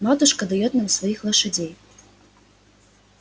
матушка даёт нам своих лошадей